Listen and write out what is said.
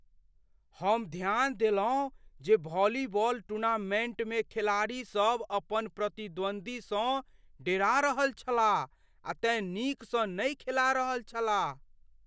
हम ध्यान देलहुँ जे वॉलीबॉल टूर्नामेंटमे खेलाड़ी सभ अपन प्रतिद्वन्द्वीसँ डेरा रहल छलाह आ तेँ नीकसँ नहि खेला रहल छलाह।